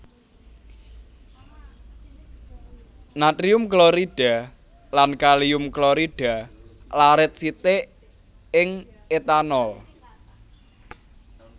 Natrium klorida lan kalium klorida larit sithik ing etanol